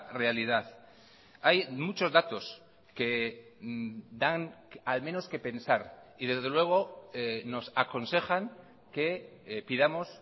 realidad hay muchos datos que dan al menos qué pensar y desde luego nos aconsejan que pidamos